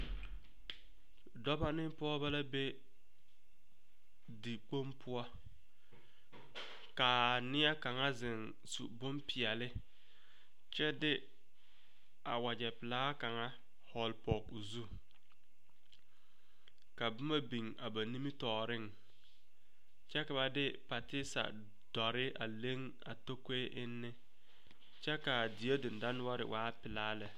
Dɔba ne pɔgeba la be dikpoŋ poɔ kaa neɛ kaŋa ziŋ su boŋ peɛle kyɛ de a wagyɛ pilaa kaŋa a vɔgle pɔg o zu ka boma biŋ a ba nimitɔɔriŋ kyɛ ka ba de patiisa dɔre a leŋ a tokoe enne kyɛ kaa die diŋdɔnɔre waa peɛle lɛ.